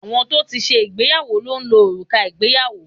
Àwọn tó ti ṣe ìgbéyàwó ló ń lo òrùka ìgbéyàwó